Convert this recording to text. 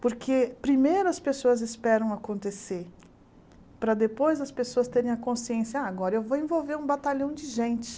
Porque primeiro as pessoas esperam acontecer, para depois as pessoas terem a consciência, ah agora eu vou envolver um batalhão de gente.